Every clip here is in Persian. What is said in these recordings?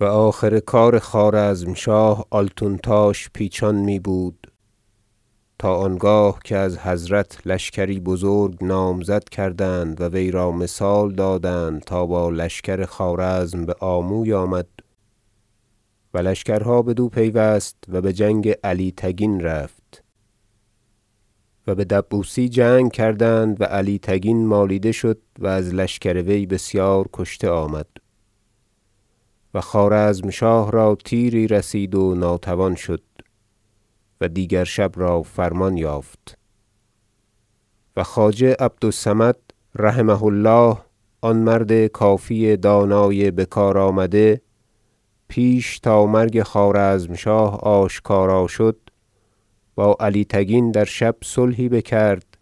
و آخر کار خوارزمشاه آلتونتاش پیچان می بود تا آنگاه که از حضرت لشکری بزرگ نامزد کردند و وی را مثال دادند تا با لشکر خوارزم بآموی آمد و لشکرها بدو پیوست و بجنگ علی تگین رفت و به دبوسی جنگ کردند و علی تگین مالیده شد و از لشکر وی بسیار کشته آمد و خوارزمشاه را تیری رسید و ناتوان شد و دیگر شب را فرمان یافت و خواجه احمد عبد الصمد رحمه الله آن مرد کافی دانای بکار آمده پیش تا مرگ خوارزمشاه آشکار شد با علی تگین در شب صلحی بکرد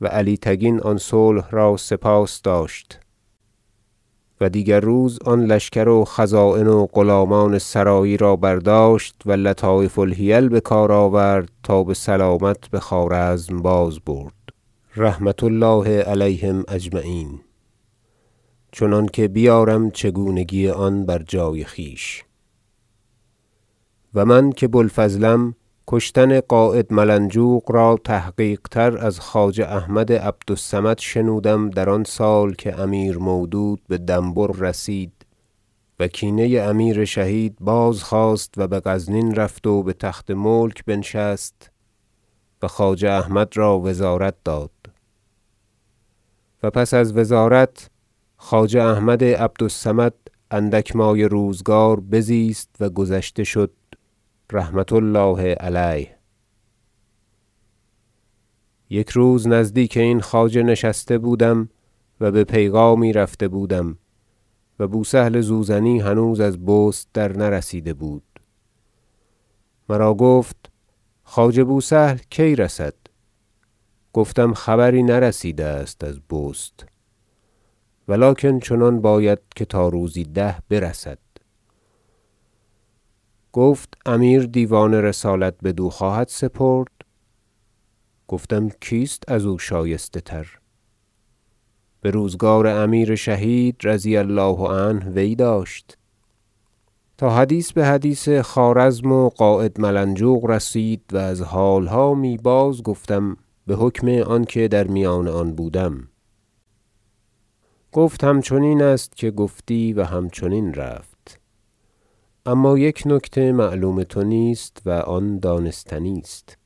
و علی تگین آن صلح را سپاس داشت و دیگر روز آن لشکر و خزاین و غلامان سرایی را برداشت و لطایف الحیل بکار آورد تا بسلامت بخوارزم باز- برد رحمة الله علیهم اجمعین چنانکه بیارم چگونگی آن بر جای خویش و من که بوالفضلم کشتن قاید ملنجوق را به تحقیق تر از خواجه احمد عبد الصمد شنودم در آن سال که امیر مودود به دنبور رسید و کینه امیر شهید بازخواست و بغزنین رفت و بتخت ملک بنشست و خواجه احمد را وزارت داد و پس از وزارت خواجه احمد عبد الصمد اندک مایه روزگار بزیست و گذشته شد رحمة الله علیه یک روز نزدیک این خواجه نشسته بودم- و به پیغامی رفته بودم و بوسهل زوزنی هنوز از بست درنرسیده بود- مرا گفت خواجه بوسهل کی رسد گفتم خبری نرسیده است از بست ولکن چنان باید که تا روزی ده برسد گفت امیر دیوان رسالت بدو خواهد سپرد گفتم کیست ازو شایسته تر بروزگار امیر شهید رضی الله عنه وی داشت تا حدیث بحدیث خوارزم و قاید ملنجوق رسید و از حالها می بازگفتم بحکم آنکه در میان آن بودم گفت همچنین است که گفتی و همچنین رفت اما یک نکته معلوم تو نیست و آن دانستنی است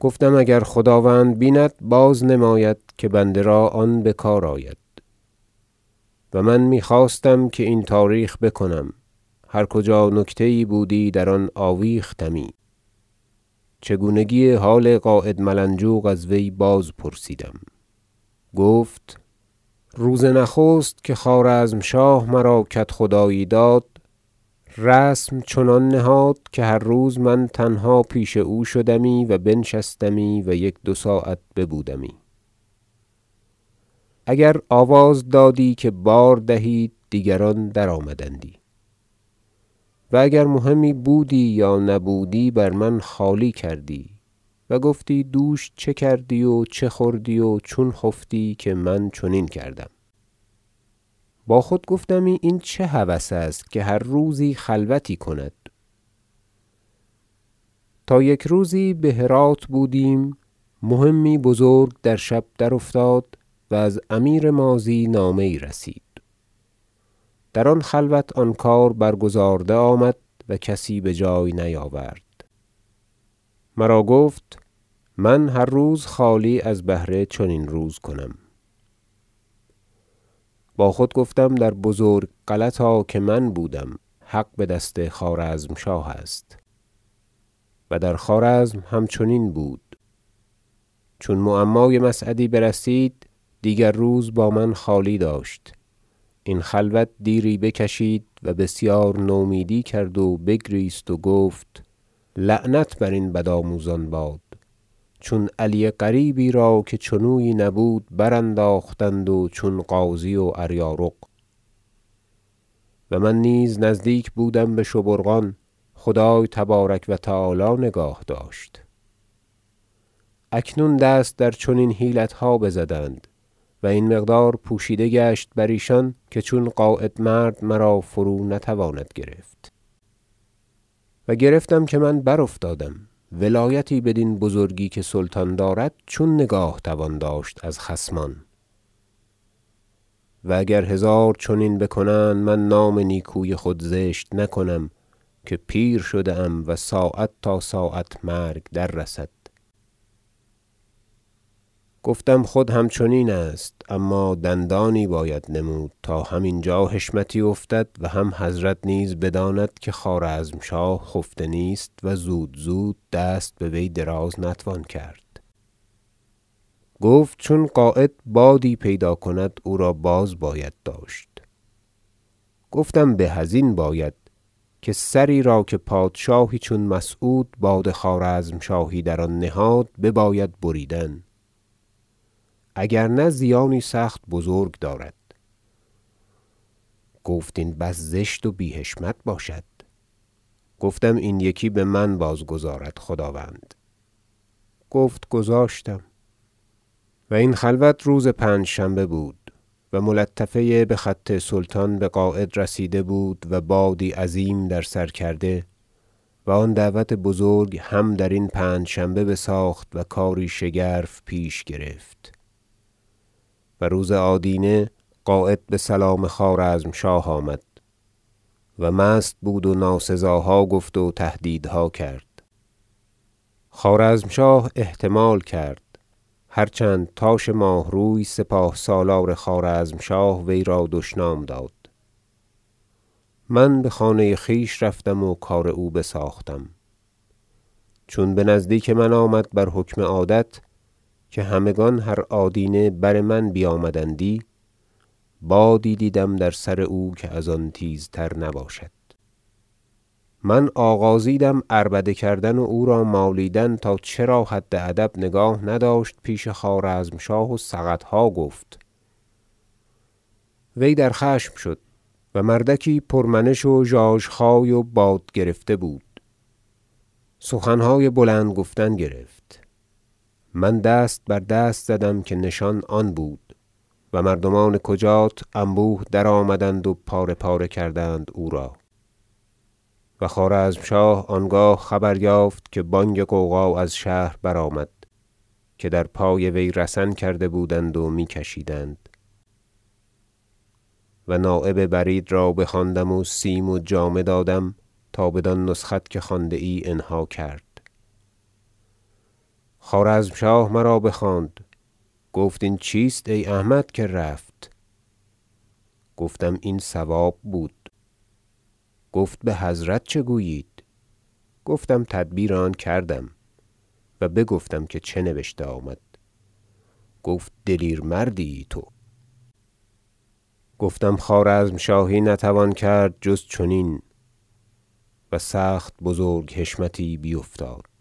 گفتم اگر خداوند بیند بازنماید که بنده را آن بکار آید- و من میخواستم که این تاریخ بکنم هر کجا نکته یی بودی در آن آویختمی - چگونگی حال قاید ملنجوق از وی بازپرسیدم گفت روز نخست که خوارزمشاه مرا کدخدایی داد رسم چنان نهاد که هر روز من تنها پیش او شدمی و بنشستمی و یک دو ساعت ببودمی اگر آواز دادی که بار دهید دیگران درآمدندی و اگر مهمی بودی یا نبودی بر من خالی کردی و گفتی دوش چه کردی و چه خوردی و چون خفتی که من چنین کردم با خود گفتمی این چه هوس است که هر روزی خلوتی کند تا یک روز به هرات بودیم مهمی بزرگ در شب درافتاد و از امیر ماضی نامه یی رسید در آن خلوت آن کار برگزارده آمد و کسی بجای نیاورد مرا گفت من هر روز خالی از بهر چنین روز کنم با خود گفتم در بزرگ غلطا که من بودم حق بدست خوارزمشاه است و در خوارزم همچنین بود چون معمای مسعدی برسید دیگر روز با من خالی داشت این خلوت دیری بکشید و بسیار نومیدی کرد و بگریست و گفت لعنت بر این بدآموزان باد چون علی قریبی را که چنویی نبود برانداختند و چون غازی واریارق و من نیز نزدیک بودم بشبورقان خدای تبارک و تعالی نگاه داشت اکنون دست در چنین حیلتها بزدند و این مقدار پوشیده گشت بر ایشان که چون قاید مرد مرا فرونتواند گرفت و گرفتم که من بر افتادم ولایتی بدین بزرگی که سلطان دارد چون نگاه توان داشت از خصمان و اگر هزار چنین بکنند من نام نیکوی خود زشت نکنم که پیر شده ام و ساعت تا ساعت مرگ دررسد گفتم خود همچنین است اما دندانی باید نمود تا هم اینجا حشمتی افتد و هم بحضرت نیز بدانند که خوارزمشاه خفته نیست و زود زود دست بوی دراز نتوان کرد گفت چون قاید بادی پیدا کند او را بازباید داشت گفتم به ازین باید که سری را که پادشاهی چون مسعود باد خوارزمشاهی در آن نهاد بباید بریدن اگر نه زیانی سخت بزرگ دارد گفت این بس زشت و بی حشمت باشد گفتم این یکی بمن بازگذارد خداوند گفت گذاشتم و این خلوت روز پنجشنبه بود و ملطفه بخط سلطان بقاید رسیده بود و بادی عظیم در سر کرده و آن دعوت بزرگ هم درین پنجشنبه بساخت و کاری شگرف پیش گرفت و روز آدینه قاید بسلام خوارزمشاه آمد و مست بود و ناسزاها گفت و تهدیدها کرد خوارزمشاه احتمال کرد هر چند تاش ماهروی سپاه سالار خوارزمشاه وی را دشنام داد من بخانه خویش رفتم و کار او بساختم چون بنزدیک من آمد بر حکم عادت که همگان هر آدینه بر من بیامدندی بادی دیدم در سر او که از آن تیزتر نباشد من آغازیدم عربده کردن و او را مالیدن تا چرا حد ادب نگاه نداشت پیش خوارزمشاه و سقطها گفت وی در خشم شد و مردکی پرمنش و ژاژخای و باد گرفته بود سخنهای بلند گفتن گرفت من دست بر دست زدم که نشان آن بود و مردمان کجات انبوه درآمدند و پاره پاره کردند او را و خوارزمشاه آنگاه خبر یافت که بانگ غوغا از شهر برآمد که در پای وی رسن کرده بودند و میکشیدند و نایب برید را بخواندم و سیم و جامه دادم تا بدان نسخت که خوانده ای انها کرد خوارزمشاه مرا بخواند گفت این چیست ای احمد که رفت گفتم این صواب بود گفت بحضرت چه گویید گفتم تدبیر آن کردم و بگفتم که چه نبشته آمد گفت دلیر مردی ای تو گفتم خوارزمشاهی نتوان کرد جز چنین و سخت بزرگ حشمتی بیفتاد